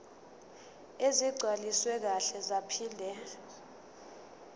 ezigcwaliswe kahle zaphinde